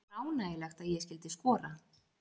Það var ánægjulegt að ég skyldi skora.